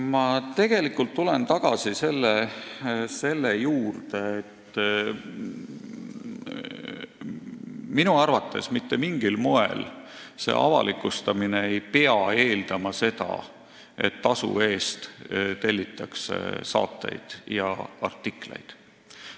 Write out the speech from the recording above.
Ma tegelikult tulen tagasi selle juurde, et minu arvates ei pea avalikustamine eeldama mitte mingil moel seda, et tasu eest tellitakse saateid ja artikleid.